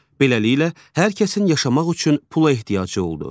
Beləliklə, hər kəsin yaşamaq üçün pula ehtiyacı oldu.